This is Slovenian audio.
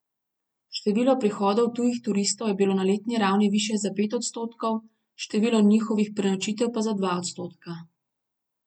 Število prihodov tujih turistov je bilo na letni ravni višje za pet odstotkov, število njihovih prenočitev pa za dva odstotka.